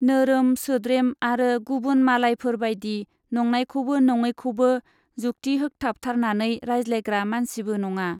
नोरोम, सोद्रेम आरो गुबुन मालायफोर बाइदि नंनायखौबो नङैखौबो जुक्ति होखथाबथारनानै रायज्लायग्रा मानसिबो नङा।